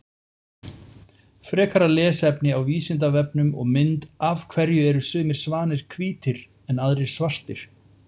Frekara lesefni á Vísindavefnum og mynd Af hverju eru sumir svanir hvítir en aðrir svartir?